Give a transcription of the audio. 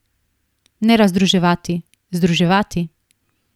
Ne razdruževati, združevati.